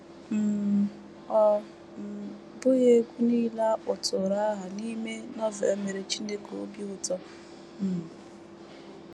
um Ọ um bụghị egwú nile a kpọtụrụ aha n’ime Novel mere Chineke obi ụtọ. um